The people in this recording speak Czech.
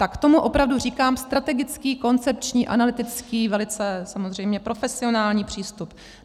Tak tomu opravdu říkám strategický, koncepční, analytický, velice samozřejmě profesionální přístup.